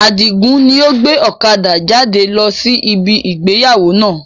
Adigun ni ó gbé ọ̀kadà jáde lọ sí ibi ìgbéyàwó náà